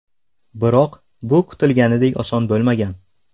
Biroq bu kutilganidek oson bo‘lmagan.